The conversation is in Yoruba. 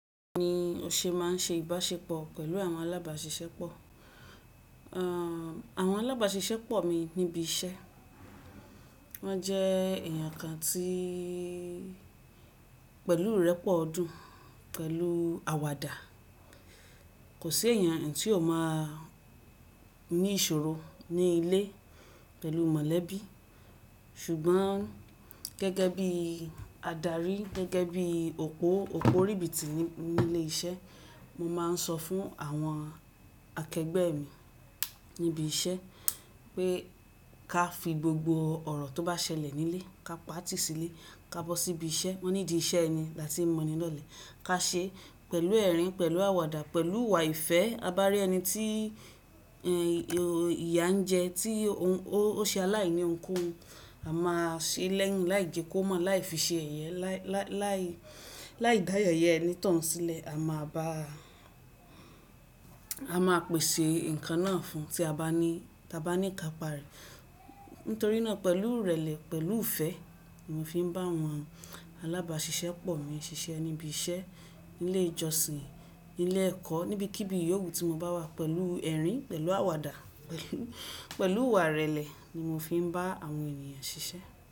Bi mo ṣe máa ń ṣe ìbáṣepọ̀ pẹ̀lú àwọn alábàáṣiṣẹ́ pọ̀. Àwọn alábáṣiṣẹ́ pọ̀ mi níbi iṣẹ́ wọ́n jẹ́ èèyàn kan tí pẹ̀lú ìrẹ́pọ̀ ọdún, pẹ̀lù àwàdà. Kò sí èèyàn tí ó máa ní ìṣòro ní ilé pẹ̀lú mọ̀lẹ́bí ṣùgbọ́n gẹ́gẹ́ bí adarí, gẹ́gẹ́ bí òpó, òpó ríbi ti ní ilé iṣẹ́ mo máa ń sọ fún àwọn akẹgbẹ́ mi níbi iṣẹ́ pé ká fi gbogbo ọ̀rọ̀ tó bá ṣẹlẹ̀ nílé ká pa á tì sílé ká bọ́ síbi iṣẹ́. Wọ́n ní idí iṣẹ́ ẹni láti mọni lọ́lẹ̀ ká ṣe pẹ̀lú ẹ̀rín, pẹ̀lú àwàdà, pẹ̀lú ìwà ìfẹ́. A bá rí ẹni tí ìyà ń jẹ, tí ó ṣe aláìní òun koún, a máa ṣe lẹ́yìn láì jẹ kó mọ̀, láì fi ṣe yẹ̀yẹ, láì dá yẹ̀yẹ ẹni tán hun sílẹ̀, a máa bá a máa pèsè ǹkan náà fún tí a bá ní ká pa rẹ̀. Nítorí náà pẹ̀lú ìrẹ̀lẹ̀, pẹ̀lú ìfẹ́ ni mo fi ń bá àwọn alábáṣiṣẹ́ pọ̀ mi ṣiṣẹ́ níbi iṣẹ́, nílé ìjọsìn, nílé ẹ̀kọ́, níbikíbi yówu tí mo bá wà pẹ̀lú ẹ̀rín, pẹ̀lú àwàdà, pẹ̀lú ìwà ìrẹ̀lẹ̀ ni mo fi ń bá àwọn ènìyàn ṣiṣẹ́